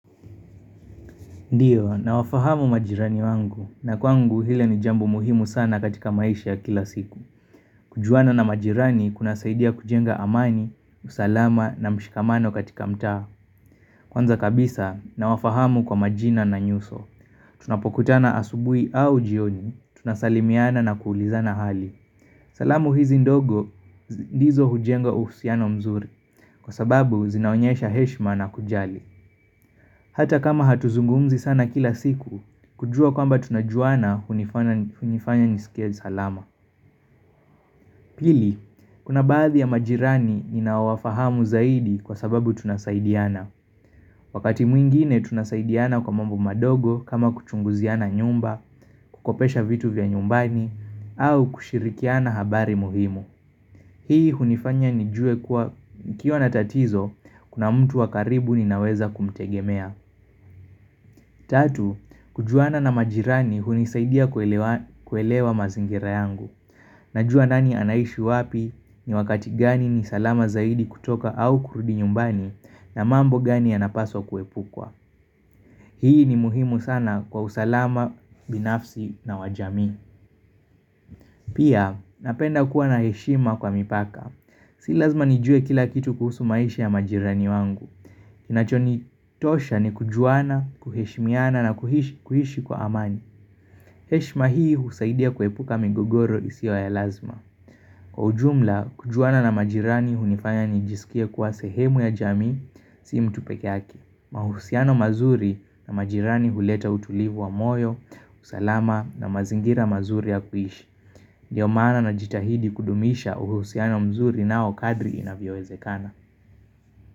Ndiyo, nawafahamu majirani wangu, na kwangu hile ni jambo muhimu sana katika maisha ya kila siku. Kujuana na majirani kuna saidia kujenga amani, usalama na mshikamano katika mtaa. Kwanza kabisa, nawafahamu kwa majina na nyuso. Tunapokutana asubui au jioni, tunasalimiana na kuulizana hali. Salamu hizi ndogo, ndizo hujenga uhusiano mzuri, kwa sababu zinaonyesha heshma na kujali. Hata kama hatuzungumzi sana kila siku, kujua kwamba tunajuana unifanya nisikie salama. Pili, kuna baadhi ya majirani ninawafahamu zaidi kwa sababu tunasaidiana. Wakati mwingine tunasaidiana kwa mambo madogo kama kuchunguziana nyumba, kukopesha vitu vya nyumbani, au kushirikiana habari muhimu. Hii unifanya nijue kuwa ukiwa natatizo, kuna mtu wakaribu ninaweza kumtegemea. Tatu, kujuana na majirani hunisaidia kuelewa mazingira yangu. Najua nani anaishi wapi ni wakati gani ni salama zaidi kutoka au kurudi nyumbani na mambo gani ya napaswa kuepukwa. Hii ni muhimu sana kwa usalama binafsi na wajamii. Pia, napenda kuwa na heshima kwa mipaka. Si lazima nijue kila kitu kuhusu maisha ya majirani wangu. Kinachoni tosha ni kujuana, kuheshimiana na kuhishi kwa amani. Heshima hii husaidia kuhepuka migogoro isiyo ya lazima. Kwa ujumla, kujuana na majirani hunifanya nijisikie kuwa sehemu ya jamii, sii mtupeke yake mahusiano mazuri na majirani huleta utulivu wa moyo, usalama na mazingira mazuri ya kuishi Ndiyo maana na jitahidi kudumisha uhusiano mzuri na okadri inavyo ezekana.